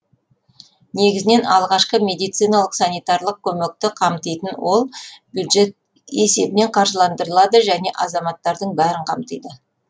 негізінен алғашқы медициналық санитарлық көмекті қамтитын ол бюджет есебінен қаржыландырылады және азаматтардың бәрін қамтиды